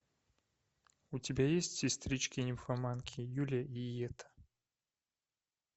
у тебя есть сестрички нимфоманки юлия и йетта